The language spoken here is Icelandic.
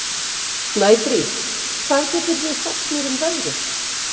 Snæfríð, hvað geturðu sagt mér um veðrið?